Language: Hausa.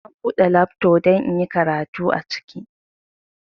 Na bude lafto don inyi karatu aciki